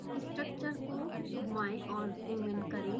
structure को घुमाएं और ज़ूम इन करें